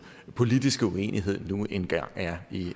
politiske uenighed nu engang er